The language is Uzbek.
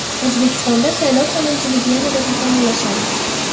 O‘zbekistonda saylov qonunchiligi yanada takomillashadi.